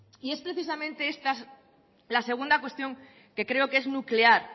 y es precisamente esta la segunda cuestión que creo que es nuclear